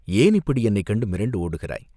ஏன் இப்படி என்னைக் கண்டு மிரண்டு ஓடுகிறாய்?